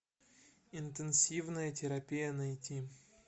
интенсивная терапия найти